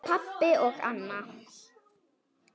Pabbi og Anna.